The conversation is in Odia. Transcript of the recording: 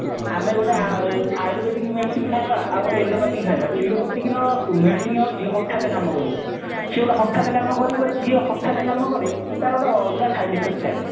ଆମେ ଗୋଟେ ଆୟୁର୍ବେଦିକ medicine ଖାଇବା ଆଉ ଗୋଟେ allopathy ଖାଇବା allopathy ର medicine ହେଉଛି ହଠାତ କାମ କରିବ ସେ ଗୋଟେ ହଠାତ କାମ କରିବ ଯିଏ ହଠାତ କାମ କରେ ତାର ଗୋଟେ ଅଲଗା side effect ଥାଏ